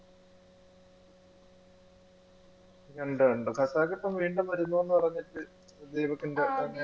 ഉണ്ട്, ഉണ്ട് ഹസാത്ത് ഇപ്പോൾ വീണ്ടും വരുന്നൂന്ന് പറഞ്ഞിട്ട്